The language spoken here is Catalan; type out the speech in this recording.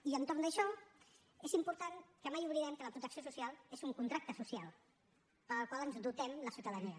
i entorn d’això és important que mai oblidem que la protecció social és un contracte social del qual ens dotem la ciutadania